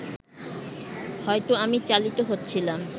হয়তো আমি চালিত হচ্ছিলাম